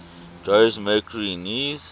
jose mercury news